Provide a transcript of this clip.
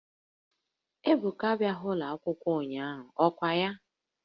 Ebuka a bịaghị n'ụlọ akwụkwọ ụnyahụ, ọ kwa ya?